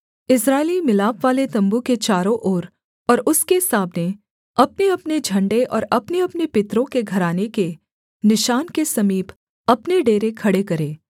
इस्राएली मिलापवाले तम्बू के चारों ओर और उसके सामने अपनेअपने झण्डे और अपनेअपने पितरों के घराने के निशान के समीप अपने डेरे खड़े करें